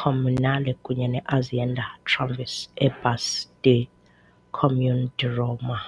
Comunale kunye ne-Azienda Tramvie e Bus del Comune di Roma.